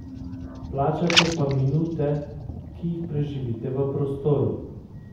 Plačate pa minute, ki jih preživite v prostoru.